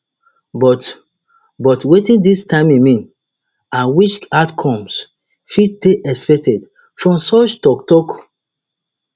but but wetin dis timing mean and which outcomes fit dey expected from such toktok